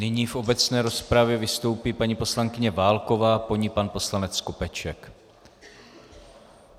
Nyní v obecné rozpravě vystoupí paní poslankyně Válková, po ní pan poslanec Skopeček.